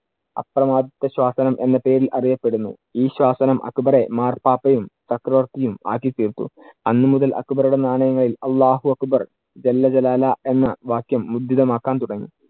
ശാസനം എന്ന പേരില്‍ അറിയപ്പെടുന്നു. ഈ ശാസനം അക്ബറെ മാർപ്പാപ്പയും ചക്രവർത്തിയും ആക്കി തീർത്തു. അന്നു മുതൽ അക്ബറുടെ നാണയങ്ങളിൽ അള്ളാഹു അക്ബർ എന്ന വാക്യം മുദ്രിതമാക്കാൻ തുടങ്ങി.